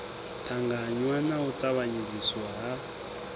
ṱangaṋwa na u tavhanyedziswa ha